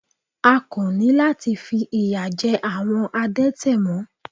A kò ní láti fi ìyà jẹ àwọn adẹ́tẹ̀ mọ́.